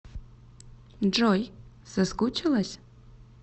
джой соскучилась